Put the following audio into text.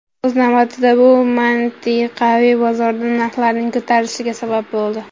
O‘z navbatida, bu mintaqaviy bozorda narxlarning ko‘tarilishiga sabab bo‘ldi.